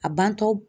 A bantɔ